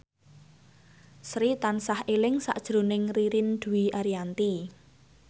Sri tansah eling sakjroning Ririn Dwi Ariyanti